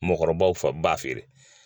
Mɔgɔkɔrɔbaw fa b'a feere.